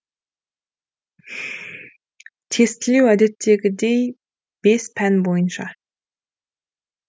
тестілеу әдеттегідей бес пән бойынша